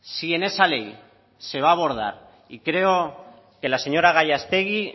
si en esa ley se va a abordar y creo que la señora gallástegui